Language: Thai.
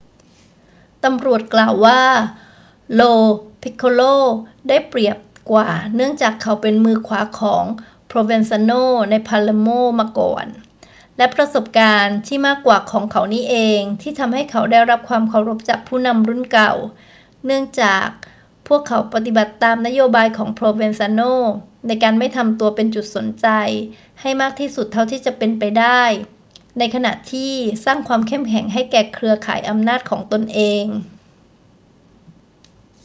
ตำรวจกล่าวว่า lo piccolo ได้เปรียบกว่าเนื่องจากเขาเป็นมือขวาของ provenzano ใน palermo มาก่อน และประสบการณ์ที่มากกว่าของเขานี่เองที่ทำให้เขาได้รับความเคารพจากผู้นำรุ่นเก่า เนื่องจากพวกเขาปฏิบัติตามนโยบายของ provenzano ในการไม่ทำตัวเป็นจุดสนใจให้มากที่สุดเท่าที่จะเป็นไปได้ ในขณะที่สร้างความเข้มแข็งให้แก่เครือข่ายอำนาจของตนเอง